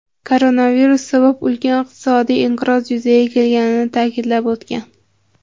koronavirus sabab ulkan iqtisodiy inqiroz yuzaga kelganini ta’kidlab o‘tgan.